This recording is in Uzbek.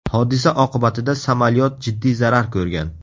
Hodisa oqibatida samolyot jiddiy zarar ko‘rgan.